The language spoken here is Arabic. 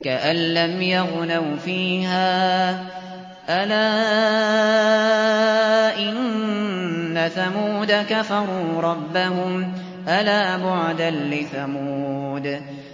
كَأَن لَّمْ يَغْنَوْا فِيهَا ۗ أَلَا إِنَّ ثَمُودَ كَفَرُوا رَبَّهُمْ ۗ أَلَا بُعْدًا لِّثَمُودَ